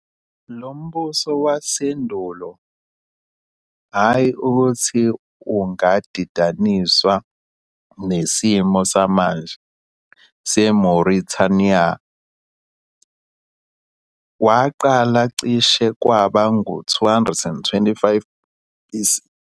Lo mbuso wasendulo, hhayi ukuthi ungadidaniswa nesimo samanje seMauritania, waqala cishe kwaba ngu-225 BC.